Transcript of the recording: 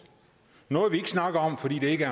noget vi ikke snakker om fordi der ikke